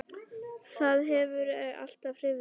Það hefur alltaf hrifið mig.